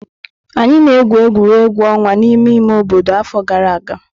Anyị na-egwu egwuregwu ọnwa n'ime ime obodo afọ gara aga.